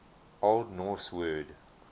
old norse word